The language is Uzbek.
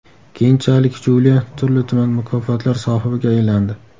Keyinchalik Julia turli-tuman mukofotlar sohibiga aylandi.